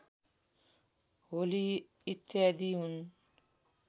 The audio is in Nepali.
होली इत्यादि हुन्